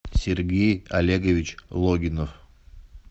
сергей олегович логинов